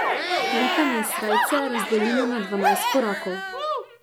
Likanje srajce razdelim na dvanajst korakov.